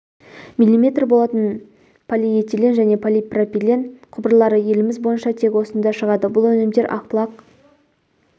милиметр болатын полиэтилен және полипропилен құбырлары еліміз бойынша тек осында шығады бұл өнімдер ақ бұлақ